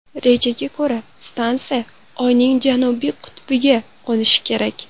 Rejaga ko‘ra, stansiya Oyning janubiy qutbiga qo‘nishi kerak.